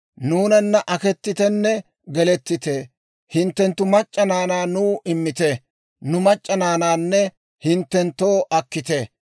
Nuunana akettitenne gelettite; hinttenttu mac'c'a naanaa nuw immite; nu mac'c'a naanaanne hinttenttoo akkite.